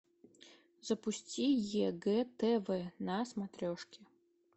запусти егэ тв на смотрешке